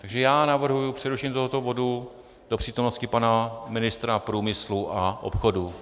Takže já navrhuji přerušení tohoto bodu do přítomnosti pana ministra průmyslu a obchodu.